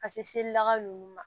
Ka seli laka ninnu ma